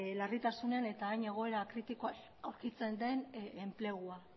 larritasunean eta hain egoera kritikoan aurkitzen den enplegua